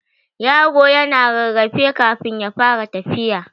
Yaro yana rarrafe kafun ya fara tafiya.